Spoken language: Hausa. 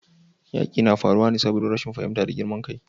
yaƙi na faruwa saboda rashin fahimta da girman kai